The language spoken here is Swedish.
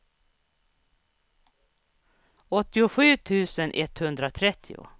åttiosju tusen etthundratrettio